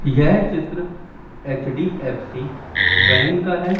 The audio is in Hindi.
यह चित्र एच_डी_एफ_सी बैंक का है।